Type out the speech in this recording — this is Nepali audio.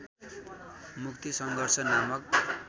मुक्ति सङ्घर्ष नामक